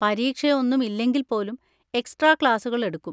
പരീക്ഷ ഒന്നും ഇല്ലെങ്കിൽ പോലും എക്സ്ട്രാ ക്ലാസ്സുകൾ എടുക്കും.